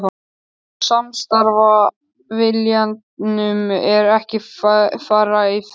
En samstarfsviljanum er ekki fyrir að fara.